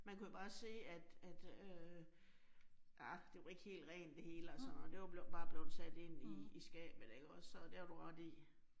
Man kunne jo bare se, at at øh ah det var ikke helt rent det hele og sådan, det var bare blevet sat ind i i skabet ikke også og det har du ret i